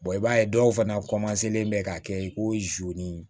i b'a ye dɔw fana len bɛ ka kɛ i ko ni